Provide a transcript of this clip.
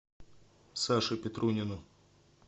саше петрунину